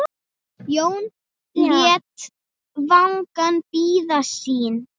Jón lét vagninn bíða sín.